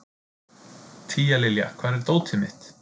Tíalilja, hvar er dótið mitt?